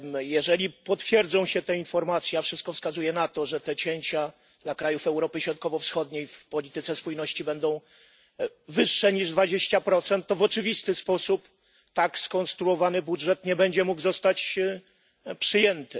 Jeżeli potwierdzą się te informacje, a wszystko wskazuje na to, że te cięcia dla krajów Europy Środkowo Wschodniej w polityce spójności będą wyższe niż 20, to w oczywisty sposób tak skonstruowany budżet nie będzie mógł zostać przyjęty.